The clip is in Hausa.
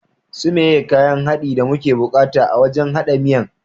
Su meye kayan haɗin da muke bukata a wajan haɗa miyan?